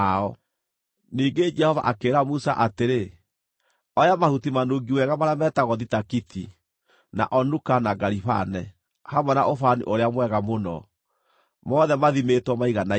Ningĩ Jehova akĩĩra Musa atĩrĩ, “Oya mahuti manungi wega marĩa metagwo thitakiti, na onuka na garibane, hamwe na ũbani ũrĩa mwega mũno, mothe mathimĩtwo maiganaine,